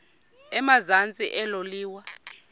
emazantsi elo liwa